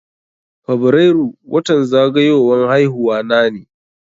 Fabrairu watan zagayowan haihuwa na ne.